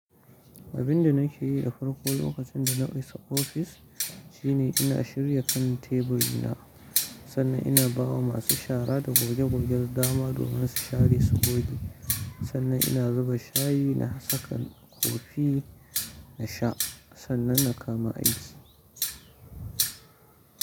Abin da nake yi a farko lokacin da na isa ofis shine ina shirya kan teburina. Sannan ina bawa masu shara da goge gogen dama domin su share su goge. Sannan ina zuba shayi na saka kofi na sha sannan na kama aiki.